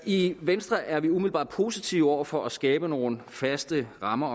i venstre er vi umiddelbart positive over for at skabe nogle faste rammer